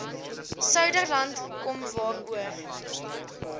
suiderland kom waaroor